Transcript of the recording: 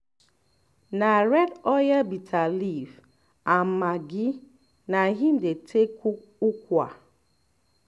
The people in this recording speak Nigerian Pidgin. na red oil bitter leaf and maggi na im dey take cook ukwa